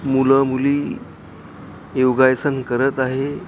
मुलं मुली योगासन करत आहे.